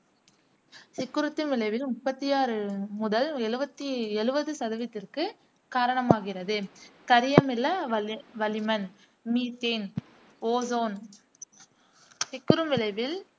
சிக்குறுத்தும் விளைவில் முப்பத்தி ஆறு முதல் எழுவத்தி எழுவது சதவீதத்திற்கு காரணமாகிறது கரியமில வளி வளிமன் மீத்தேன், ஓசோன் சிக்குறும் விளைவில்